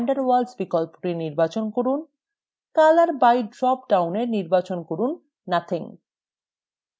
van der waals বিকল্পটি নির্বাচন করুন color by drop downএ নির্বাচন করুন nothing